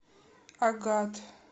агат